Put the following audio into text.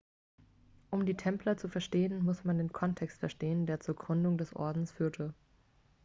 um die templer zu verstehen muss man den kontext verstehen der zur gründung des ordens führte